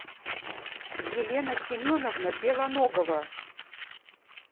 елена семеновна белоногова